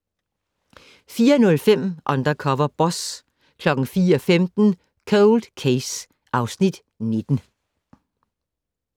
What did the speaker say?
04:05: Undercover Boss 04:15: Cold Case (Afs. 19)